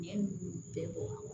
Ɲɛ ninnu bɛɛ bɔ